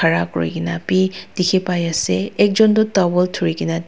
khara kurina bi dikhipaiase ekjon toh towel dhurikaena.